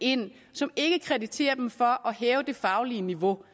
ind og som ikke krediterer dem for at hæve det faglige niveau